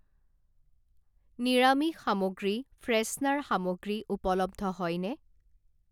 নিৰামিষ সামগ্ৰী, ফ্ৰেছনাৰ সামগ্ৰী উপলব্ধ হয়নে?